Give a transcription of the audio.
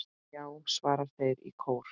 Já! svara þeir í kór.